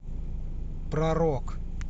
про рок